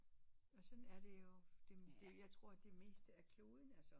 Og sådan er det jo jeg tror det meste af kloden altså